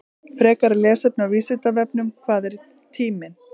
Frekara lesefni á Vísindavefnum: Hvað er tíminn?